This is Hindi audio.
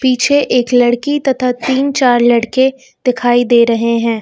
पीछे एक लड़की तथा तीन चार लड़के दिखाई दे रहे है।